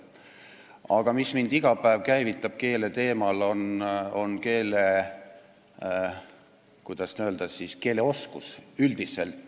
Aga mis mind iga päev keeleteemale mõtlema käivitab, see on, kuidas öeldagi, keeleoskus üldiselt.